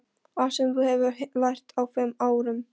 Allt sem þú hefur lært á fimm árum.